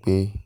gbé